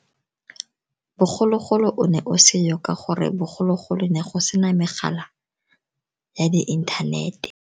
Bogologolo o ne o se yo, ka gore bogologolo ne go se na megala ya di inthanete.